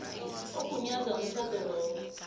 ogunyaza umtjhado lowo